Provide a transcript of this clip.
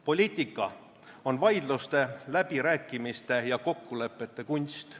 Poliitika on vaidluste, läbirääkimiste ja kokkulepete kunst.